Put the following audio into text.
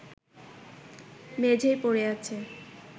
মেঝেয় পড়ে আছে